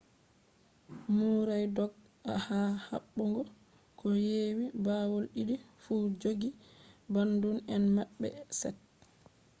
murray dog`i ha habbugo ko yewi bawo didi fu joji bandun em mabbe set